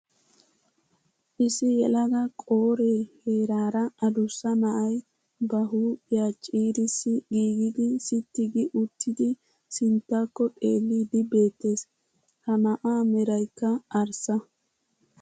Issi yelaga qoore heeraara addussa na'ay ba huuphiyaa ciirissi giigidi sitti gi uttidi sinttakko xeelidi beettees. Ha na'aa meraykka arssa.